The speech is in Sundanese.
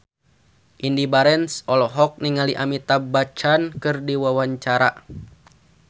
Indy Barens olohok ningali Amitabh Bachchan keur diwawancara